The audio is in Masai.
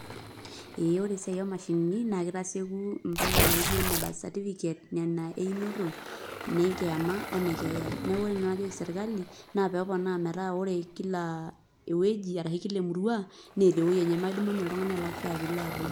Ee ore esiai oo mashinini na keteitasieku ipala naijo ine birth certificate nena eeinoti ine kiama oone keeya neku ore nanu enajoki sirkali naa pepona meeta ore kila eweji ashu Kila emurua naa meudumunye oltung'ani pilak fare piilo atum.